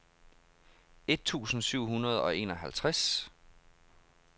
et tusind syv hundrede og enoghalvtreds